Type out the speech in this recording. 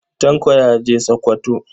Tanko ya je Sakkwato.